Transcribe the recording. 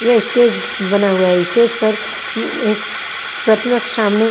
यह स्टेज ब बना हुआ है स्टेज पर उँ एक प्रति वर्क सामने--